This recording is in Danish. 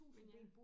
Men ja